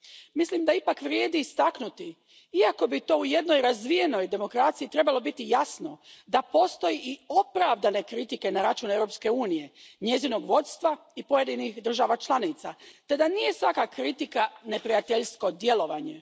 Mislim da ipak vrijedi istaknuti, iako bi to u jednoj razvijenoj demokraciji trebalo biti jasno, da postoje i opravdane kritike na račun Europske unije, njezinog vodstva i pojedinih država članica, te da nije svaka kritika neprijateljsko djelovanje.